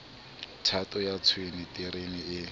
thato ya tshwene terene e